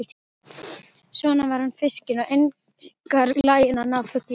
Svo var hann fiskinn og einkar laginn að ná fugli.